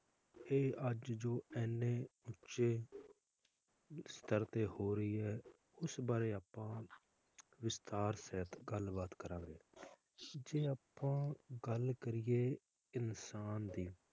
ਅਤੇ ਅੱਜ ਜੋ ਇਹਨੇ ਉਚੇ ਸਤਰ ਤੇ ਹੋ ਰਹੀ ਹੈ ਉਸ ਬਾਰੇ ਆਪਾਂ ਵਿਸਤਾਰ ਸਹਿਤ ਗੱਲਬਾਤ ਕਰਾਂਗੇ ਜਾ ਅੱਪਾਂ ਗੱਲ ਕਰੀਏ ਇਨਸਾਨ ਦੀ,